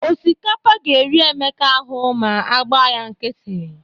Osikapa ga-eri Emeka ahụ ma a agba ya nkịtị.